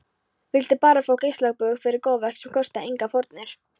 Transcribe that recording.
Vildi bara fá geislabaug fyrir góðverk sem kostaði engar fórnir.